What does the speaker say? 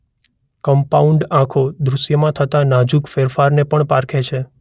Compound આંખો દૃષ્યમાં થતા નાજુક ફેરફારને પણ પારખે છે.